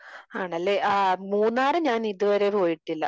ആണല്ലേ? ഏഹ് മൂന്നാർ ഞാൻ ഇതുവരെ പോയിട്ടില്ല.